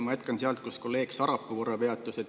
Ma jätkan sealt, kus kolleeg Sarapuu korra peatus.